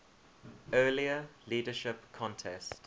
earlier leadership contest